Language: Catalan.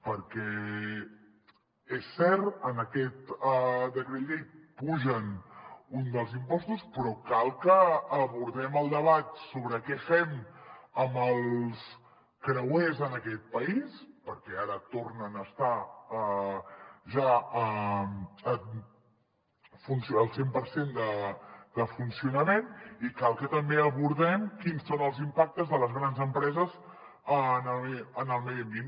perquè és cert en aquest decret llei apugen un dels impostos però cal que abordem el debat sobre què fem amb els creuers en aquest país perquè ara tornen a estar ja al cent per cent de funcionament i cal que també abordem quins són els impactes de les grans empreses en el medi ambient